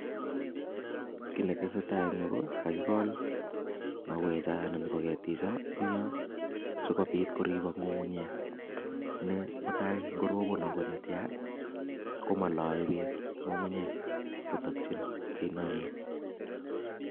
Kii netesetai eng Yu ko kakikol mauwek cho anan ko ketik cho eng yoo sikobit korib ng'ung'unyek nee mutai ingo robon neo netya ko moloe beek ng'ung'unyek kotakchin ainonin